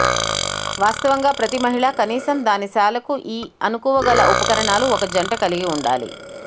వాస్తవంగా ప్రతి మహిళ కనీసం దాని శాలకు ఈ అనుకవగల ఉపకరణాలు ఒక జంట కలిగి ఉండాలి